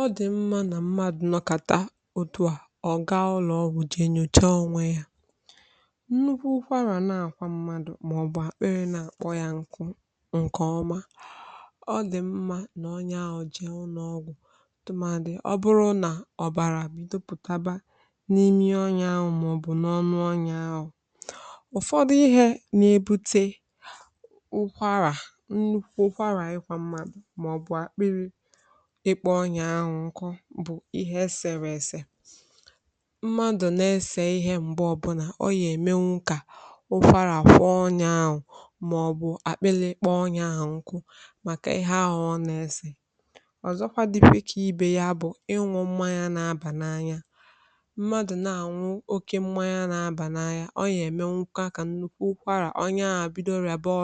Ọ dị̀ mma ka mmadụ nọkata otu a ọ̀ gaa ụlọ ọgwụ jee nyochaa onwe ya. Nnukwu ụkwara na-akwa mmadụ, ma ọ bụ na-akpọ ya nkụ nkọọma ọ dị mma ka onye ahụ jee ụlọ ọgwụ tụmadụ, ọkachasị ma ọ bụrụ na ọbara apụta n’imi onye ahụ ma ọ bụ n’ọnụ ya. Ụfọdụ ihe na-ebute nnukwu ụkwara, ikwa mmadụ, ma ọ bụ akpụkpọ akpọ ya nkụ, bụ ihe e sere: Mmadụ na-ese ihe mgbe ọbụla ọ na-eme nka dịka ụfara, kwọ ọnya ahụ, ma ọ bụ akpịrị ịkpọ ya nkụ. Ihe a ọ na-ese nwere ike bụrụ ihe na-eme ka ọrịa bido. Ịṅụ mmanya na-abà n’anya mmadụ mmanya na-abà n’anya, ọ bụrụ na mmadụ anwụ oke mmanya, nwere ike ime ka ụkwara bido ma bụrụ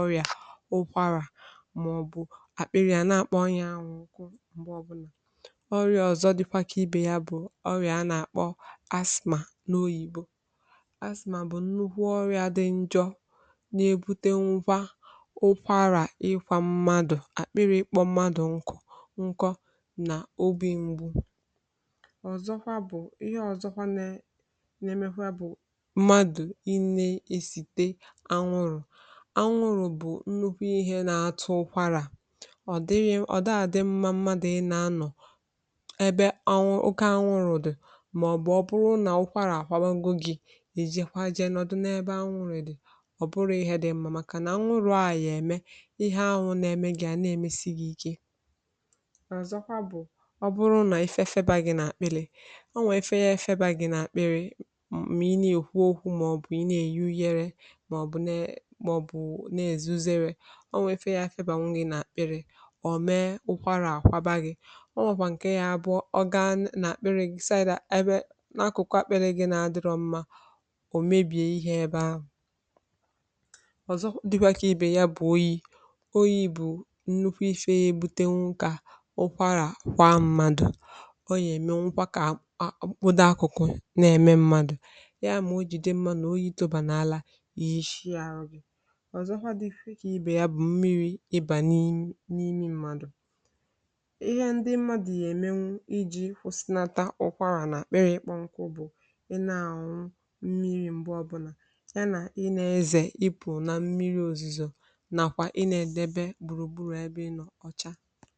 ọrịa. Ọrịa a na-akpọ asthma. Asthma bụ̀ nnukwu ọrịa dị njọ. Ọ na-ebute nwa ụkwara, ikwa mmadụ, akpịrị ịkpọ mmadụ nkọ nkọ, na obi mgbu. Anwụrụ anwụrụ bụ nnukwu ihe na-akpata ụkwara, ọkachasị ma ọ bụrụ na onye ahụ nọ n’ebe anwụrụ dị. Ọ bụrụ na anwụrụ na-emesi gị ike, ọ dị mma ịpụ ebe ahụ. Ifefe ọ bụrụ na ifefe na-akpịrị gị mgbe ị na-ekwu okwu, ma ọ bụ na-euyere, ma ọ bụ na-azuzere, zere ebe ife na-efe. Ifefe a nwere ike bute akpịrị ka ị na-akpịrị. Akụkụ akperẹghị ma ọ bụrụ na akụkụ ahụ akperẹghị, ma ọ bụ mebiri, ọ nwere ike ibute nnukwu nsogbu, wee mee ka mmadụ daa n’ala, gosi ya aro. Oyi oyi bụ nnukwu ihe ọzọ nke nwere ike ibute ụkwara kwa mmadụ. Ọ bụrụ na oyi jide mmadụ, o yitobà n’ala, nwere ike ịdị njọ. Mmiri ịbà n’imi mmadụ ka mmadụ na-ụsịnata, ụkwara na-apụta. Ịkpọ nkụ bụ̀ ị na-arụ mmiri mgbe ọbụla. Mgbe ị na-ezè, ịpụ n’ụzọ mmiri ozizọ, ma debe onwe gị gbùrùgbùrù ebe ị nọ ọcha